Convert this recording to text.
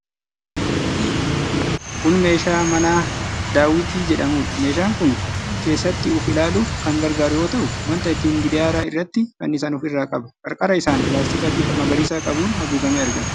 Kun meeshaa manaa daawwitii jedhamuudha. Meeshaan kun keessatti of ilaaluuf kan gargaaru yoo ta'u, wanta ittiin gidaara irratti fannisan of irraa qaba. Qarqara isaan pilaastika bifa magariisa qabuun haguugamee argama.